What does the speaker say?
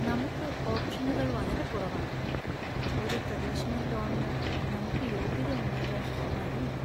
നമുക്ക് ഓപ്ഷനുകൾ വളരെ കുറവാണ് ! ഒരു ട്രെഡീഷണൽ ലോണിന് നമുക്ക് യോഗ്യത ഉണ്ടാകാൻ വഴിയില്ല .